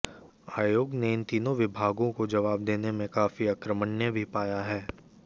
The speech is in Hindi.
आयोग ने इन तीनों विभागों को जवाब देने में काफी अकर्मण्य भी पाया है